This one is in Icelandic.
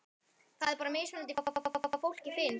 Það er bara mismunandi hvað fólki finnst?